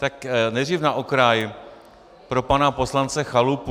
Tak nejdřív na okraj pro pana poslance Chalupu.